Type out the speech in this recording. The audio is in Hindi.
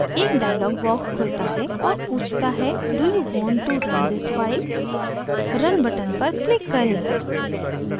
एक dialog box खुलता है और पूछता है do you want to run this file